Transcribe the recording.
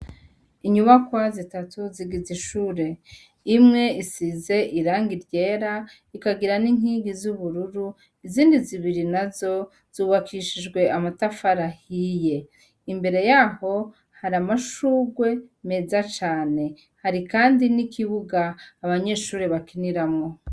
Inyubakwa zitatu zigiza ishure imwe isize iranga ryera ikagira n'inkingi z'ubururu izindi zibiri na zo zubakishijwe amatafarahiye imbere yaho hari amashurwe meza cane hari, kandi n'ikibuga abanyeshure bakinira amu.